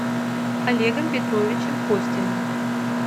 олегом петровичем костиным